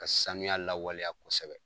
Ka sanuya lawaleya kosɛbɛ